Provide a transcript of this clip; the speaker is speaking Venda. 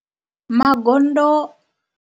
Magondo.